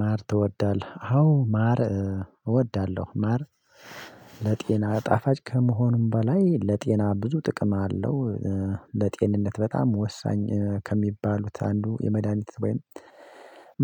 ማር ትወዳለህ? አዎ ማር እወዳለሁ ማር ለጤና ጣፋጭ ከመሆኑም በላይ ለጤና ብዙ ጥቅም አለው። ለጤንነት በጣም ወሳኝ ከሚባሉት አንዱ የመድሃኒት ወይም